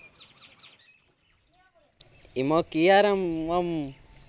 એમાં KRM અમ